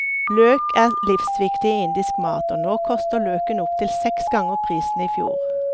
Løk er livsviktig i indisk mat, og nå koster løken opptil seks ganger prisen i fjor.